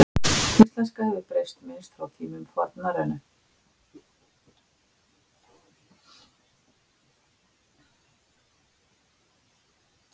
Íslenska hefur breyst minnst frá tíma fornnorrænu.